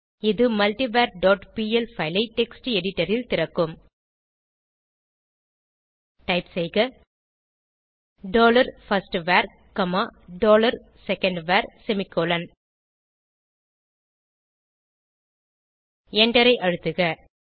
இது multivar dot PL file ஐ text editor ல் திறக்கும் டைப் செய்க dollar firstvar comma dollar secondvar semicolon எண்டரை அழுத்துக